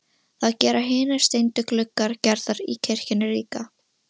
Það gera hinir steindu gluggar Gerðar í kirkjunni líka.